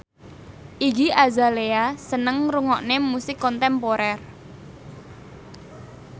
Iggy Azalea seneng ngrungokne musik kontemporer